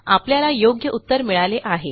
आपल्याला योग्य उत्तर मिळाले आहे